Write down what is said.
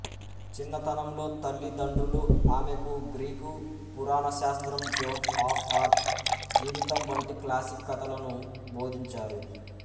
చిన్నతనంలో తల్లిదండ్రులు ఆమెకు గ్రీక్ పురాణశాస్త్రం జోన్ ఆఫ్ ఆర్క్ జీవితం వంటి క్లాసిక్ కథలను బోధించారు